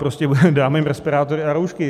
Prostě dáme jim respirátory a roušky.